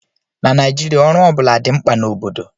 Na Naijiria, ọrụ ọ bụla dị mkpa na obodo